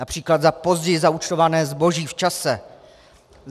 Například za později zaúčtované zboží v čase.